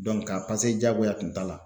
ka jagoya tun t'a la.